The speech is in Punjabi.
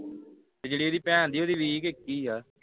ਤੇ ਕਿਹੜੀ ਇਹਦੀ ਭੈਣ ਦੀ ਵੀਹ ਕੇ ਇੱਕੀ ਆ